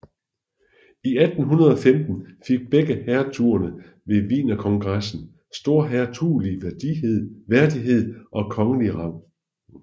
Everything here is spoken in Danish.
I 1815 fik begge hertugerne ved Wienerkongressen storhertugelig værdighed og kongelig rang